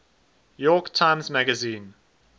york times magazine